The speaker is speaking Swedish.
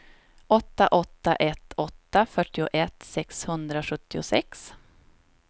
åtta åtta ett åtta fyrtioett sexhundrasjuttiosex